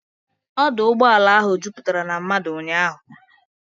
Ọdụ ụgbọala ahụ juputara na mmadụ ụnyaahụ.